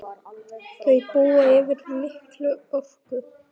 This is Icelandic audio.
Þau búa yfir mikilli orku.